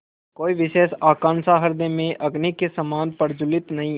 कोई विशेष आकांक्षा हृदय में अग्नि के समान प्रज्वलित नहीं